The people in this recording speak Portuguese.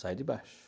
Sai de baixo.